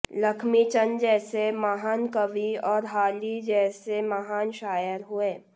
लख्मी चंद जैसे महान कवि और हाली जैसे महान शायर हुए